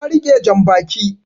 Ta rike jan baki